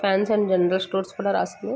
Fancy and general stores కూడా రాసుంది.